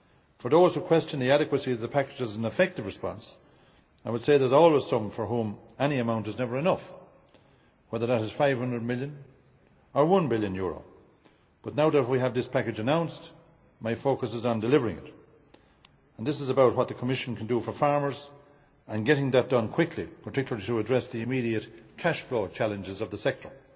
For those who question the adequacy of the package as an effective response, I would say there are always some for whom any amount is never enough, whether it is EUR 500 million or EUR 1 billion, but now that we have this package announced, my focus is on delivering it. This is about what the Commission can do for farmers and getting that done quickly, particularly to address the immediate cashflow challenges of the sector.